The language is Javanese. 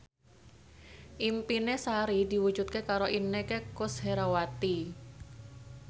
impine Sari diwujudke karo Inneke Koesherawati